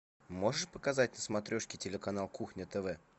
можешь показать на смотрешке телеканал кухня тв